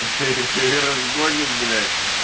разгонят блять